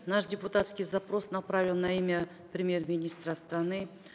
наш депутатский запрос направлен на имя премьер министра страны